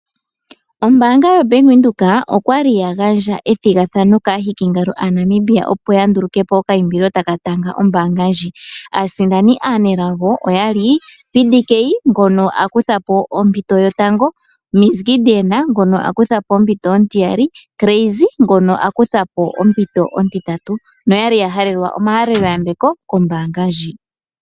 Ombaanga yaVenduka oyali ya gandja ethigathano kaahikingalo aaNamibia opo ya nduluke okaimbilo taka tanga ombaanga ndjika. Aasindani aanelago oyali PDK ngono a kutha po ompinto yotango, Gideon ngoka a kutha po ompiti ontiyali, osho wo Crazy ngoka a kutha po ompinto ontitatu. Oayli ya halelwa omayambeko kombaanga ndjika.